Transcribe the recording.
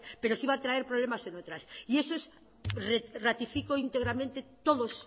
pero sí va a traer problemas en otras y eso es ratifico íntegramente todos